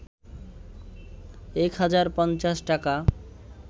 ১ হাজার ৫০ টাকা